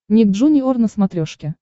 ник джуниор на смотрешке